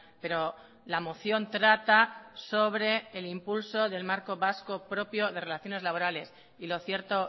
pero la moción trata sobre el impulso del marco vasco propio de relaciones laborales y lo cierto